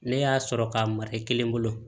Ne y'a sɔrɔ k'a mara i kelen bolo